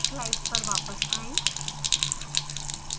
slides पर वापस आएँ